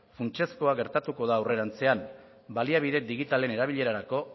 funtsezkoa gertatuko da aurrerantzean baliabide digitalen erabilerarako